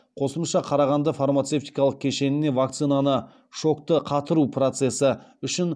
қосымша қарағанды фармацевтикалық кешеніне вакцинаны шокты қатыру процесі үшін